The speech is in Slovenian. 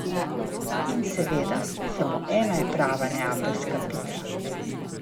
In seveda, samo ena je prava neapeljska pica.